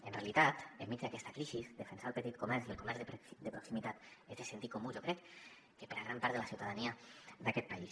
en realitat enmig d’aquesta crisi defensar el petit comerç i el comerç de proximitat és de sentit comú jo crec que per a gran part de la ciutadania d’aquest país